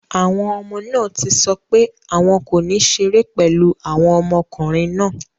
Àwọn ọmọ náà ti sọ pé àwọn kò ní ṣeré pẹ̀lú àwọn ọmọkùnrin náà.